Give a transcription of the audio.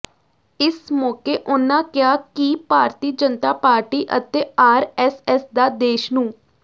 ਇਸ ਮੌਕੇ ਉਨ੍ਹਾਂ ਕਿਹਾ ਕਿ ਭਾਰਤੀ ਜਨਤਾ ਪਾਰਟੀ ਅਤੇ ਆਰਐੱਸਐੱਸ ਦਾ ਦੇਸ਼ ਨੂੰ